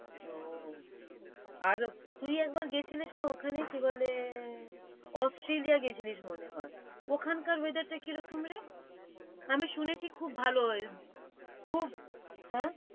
ওও আর তুই একবার গেছিলিস না ওখানে? কি বলে, Australia গেছিলিস মনে হয় ওখানকার weather টা কীরকমরে? আমি শুনেছি খুব ভাল weather খুব,